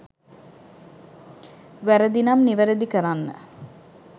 වැරදි නම් නිවැරදි කරන්න